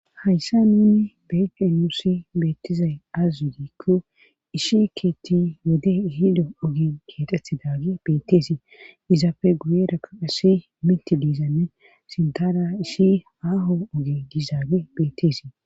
Hayssa nuuni beede nuusi beettizay az widikko ishi keetti wode ihido ogen keexethi daage beetteesii izaafe guyeerakko assi miti diizanne sintara ishi aaho oge diizaage bettesii